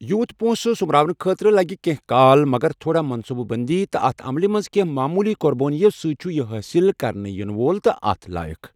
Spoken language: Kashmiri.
یوٗت پونٛسہٕ سوٚمراونہٕ خٲطرٕ لَگہِ کیٚنٛہہ کال، مگر تھوڑا منٛصوٗبہٕ بٔنٛدی تہٕ اَتھ عملہِ منٛز کیٚنٛہہ معموٗلی قۄربٲنِیو سٕتہِ چُھ یہِ حٲصِل کرنہٕ یِنہٕ وول تہٕ اتھ لایق ۔